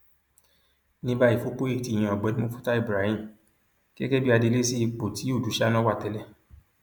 ní báyìí fúpòye ti yan ọgbẹni mufútàù ibrahim gẹgẹ bíi adelé sí ipò tí ọdùṣáná wà tẹlẹ